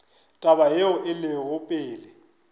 taba yeo e lego pele